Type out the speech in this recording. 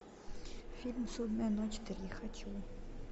фильм судная ночь три хочу